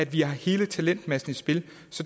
vi har hele talentmassen i spil